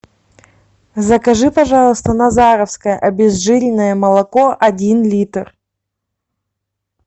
закажи пожалуйста назаровское обезжиренное молоко один литр